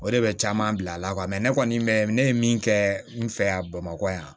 O de bɛ caman bila a la ne kɔni mɛ ne ye min kɛ n fɛ yan bamakɔ yan